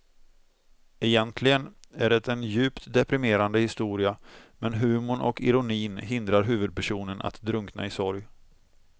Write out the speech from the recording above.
Egentligen är det en djupt deprimerande historia men humorn och ironin hindrar huvudpersonen att drunkna i sorg.